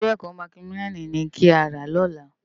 Iwé èkò mákimiláni ni ká rá lòlá